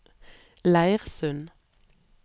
Leirsund